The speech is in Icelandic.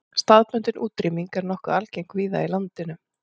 Staðbundin útrýming er nokkuð algeng víða í landinu.